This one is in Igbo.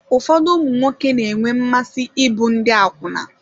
Ụfọdụ ụmụnwoke na-enwe mmasị ịbụ ndị akwụna.